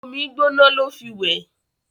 omí gbóná ló fí wẹ